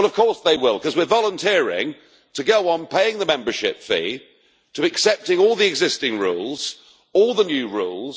Of course they will, because we are volunteering to go on paying the membership fee, to accepting all the existing rules and all the new rules.